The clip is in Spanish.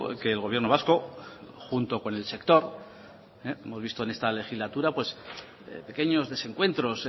que el gobierno vasco junto con el sector hemos visto en esta legislatura pequeños desencuentros